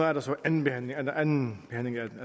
er der så anden behandling anden behandling af